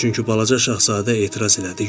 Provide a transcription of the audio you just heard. çünki Balaca Şahzadə etiraz elədi.